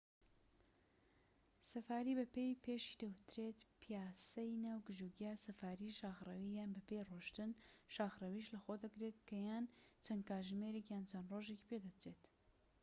سەفاریی بە پێ پێشی دەوترێت پیاسەی ناو گژوگیا"، سەفاریی شاخڕەوی یان بەپێ ڕۆشتن شاخرەویش لەخۆ دەگرێت کە یان چەند کاتژمێرێك یان چەند ڕۆژێکی پێدەچێت